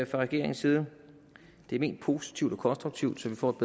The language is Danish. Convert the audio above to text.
regeringens side det er ment positivt og konstruktivt så vi får et